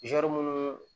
minnu